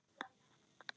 Lítur til hennar.